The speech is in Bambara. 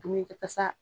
Dumuni kɛ tasa